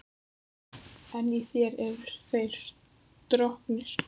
En í þér eru þeir stroknir.